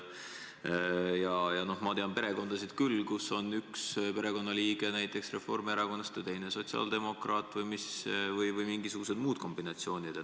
Ja ma tean küll perekondasid, kus on üks liige näiteks Reformierakonnast ja teine sotsiaaldemokraat või mingisugused muud kombinatsioonid.